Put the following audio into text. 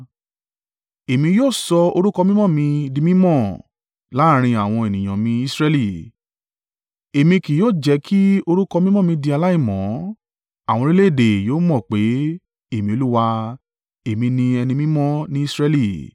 “ ‘Èmi yóò sọ orúkọ mímọ́ mí di mí mọ̀ láàrín àwọn ènìyàn mì Israẹli. Èmi ki yóò jẹ́ kí orúkọ mímọ́ mi di aláìmọ́ àwọn orílẹ̀-èdè yóò mọ̀ pé, Èmi Olúwa, Èmi ni ẹni mímọ́ ní Israẹli.